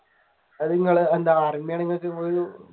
നിങ്ങൾ എന്താ